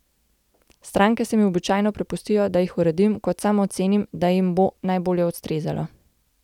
Stranke se mi običajno prepustijo, da jih uredim, kot sam ocenim, da jim bo najbolje ustrezalo.